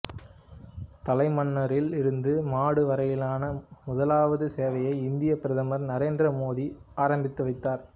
தலைமன்னாரில் இருந்து மடு வரையிலான முதலாவது சேவையை இந்தியப் பிரதமர் நரேந்திர மோதி ஆரம்பித்து வைத்தார்